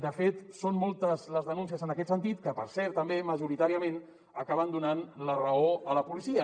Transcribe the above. de fet són moltes les denúncies en aquest sentit que per cert també majoritàriament acaben donant la raó a la policia